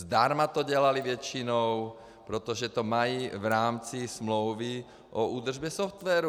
Zdarma to dělali většinou, protože to mají v rámci smlouvy o údržbě softwaru.